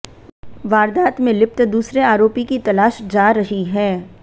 वारदात में लिप्त दूसरे आरोपी की तलाश जा रही है